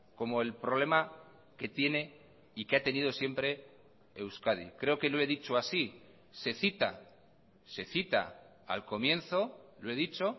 como el problema que tiene y que ha tenido siempre euskadi creo que lo he dicho así se cita se cita al comienzo lo he dicho